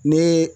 Ne